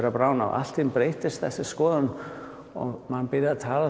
að bráðna og allt í einu breyttist þessi skoðun og maður byrjaði að